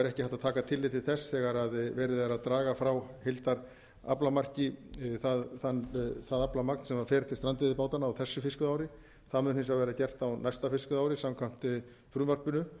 er ekki hægt að taka tillit til þess þegar verið er að draga frá heildaraflamarki það aflamark sem fer til strandveiðibátanna á þessu fiskveiðiári það mun hins vegar vera gert á næsta fiskveiðiári samkvæmt frumvarpinu